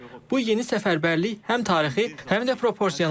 Bu yeni səfərbərlik həm tarixi, həm də proporsionaldır.